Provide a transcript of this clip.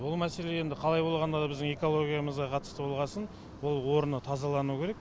бұл мәселе енді қалай болғанда да біздің экологиямызға қатысты болғасын ол орны тазалану керек